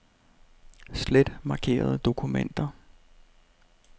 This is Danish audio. Slet markerede dokumenter.